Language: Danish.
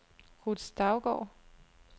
Ruth Stougaard